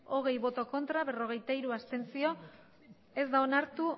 hogei ez berrogeita hiru abstentzio ez da onartu